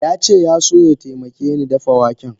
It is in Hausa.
Yace yaso ya taimakeni dafa waken.